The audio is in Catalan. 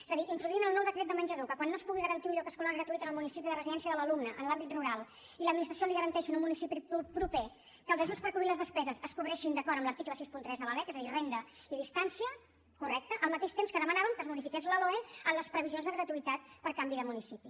és a dir introduir en el nou decret de menjador que quan no es pugui garantir un lloc escolar gratuït en el municipi de residència de l’alumne en l’àmbit rural l’administració li garanteixi en un municipi proper que els ajuts per cobrir les despeses es cobreixin d’acord amb l’article seixanta tres de la lec és a dir renda i distància correcte al mateix temps que demanàvem que es modifiqués la loe en les previsions de gratuïtat per canvi de municipi